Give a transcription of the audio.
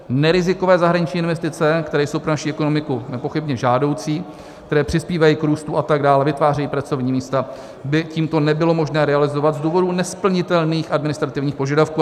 Nerizikové zahraniční investice, které jsou pro naši ekonomiku nepochybně žádoucí, které přispívají k růstu a tak dále, vytvářejí pracovní místa, by tímto nebylo možné realizovat z důvodu nesplnitelných administrativních požadavků.